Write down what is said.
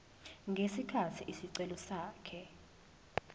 ngesikhathi isicelo sakhe